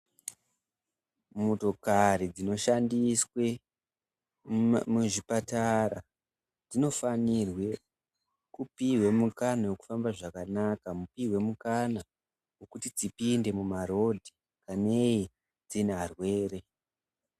Motokari dzinoshandiswe muzvipatara dzinofanirwe kupihwe mukana wekufamba zvakanaka mupihwe mukana wekuti dzipinde mumapato dzine varwere.